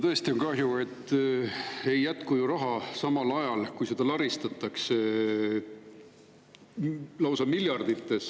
Tõesti on kahju, et ei jätku raha, samal ajal kui seda laristatakse lausa miljardites.